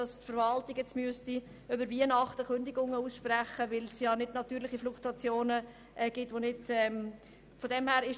Die Verwaltung müsste bis Ende Jahr Kündigungen aussprechen, denn über die natürliche Fluktuation wäre dieser Abbau nicht möglich.